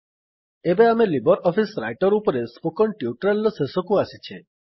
ଏବେ ଆମେ LibreOffice Writer ଉପରେ ସ୍ପୋକନ୍ ଟ୍ୟୁଟରିଆଲ୍ ର ଶେଷକୁ ଆସିଛେ